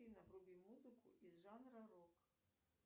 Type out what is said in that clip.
афина вруби музыку из жанра рок